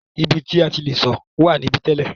Ibi ti a ti le sọ̀ wà níbí tẹ́lẹ̀.